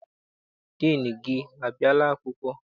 Diinu gị abịala akwụkwọ?